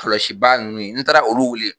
kɔlaɔsibaa ninnu n taara olu wuli.